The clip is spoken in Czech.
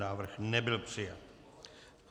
Návrh nebyl přijat.